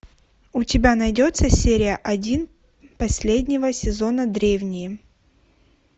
у тебя найдется серия один последнего сезона древние